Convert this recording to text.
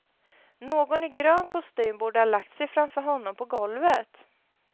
Någon i grön kostym borde ha lagt sig framför honom på golvet.